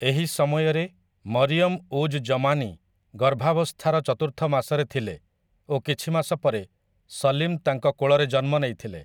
ଏହି ସମୟରେ ମରିୟମ ଉଜ୍ ଜମାନୀ ଗର୍ଭାବସ୍ଥାର ଚତୁର୍ଥ ମାସରେ ଥିଲେ ଓ କିଛି ମାସ ପରେ ସଲିମ୍ ତାଙ୍କ କୋଳରେ ଜନ୍ମ ନେଇଥିଲେ ।